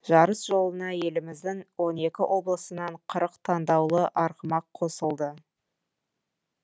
жарыс жолына еліміздің он екі облысынан қырық таңдаулы арғымақ қосылды